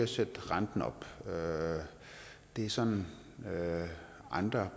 sætte renten op det er sådan at at andre